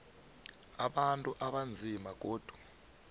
abantu abanzima godu